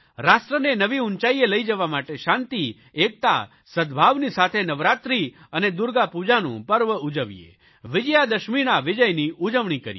રાષ્ટ્રને નવી ઊંચાઇએ લઇ જવા માટે શાંતિ એકતા સદભાવની સાથે નવરાત્રિ અને દુર્ગાપૂજાનું પર્વ ઉજવીએવિજયાદશમીના વિજયની ઉજવણી કરીએ